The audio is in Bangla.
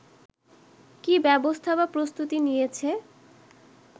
কি ব্যবস্থা বা প্রস্তুতি নিয়েছে